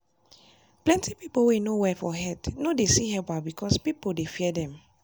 plenty people wey no well for head no dey see helperbecause people dey fear them.